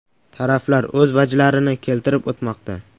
Taraflar o‘z vajlarini keltirib o‘tmoqda.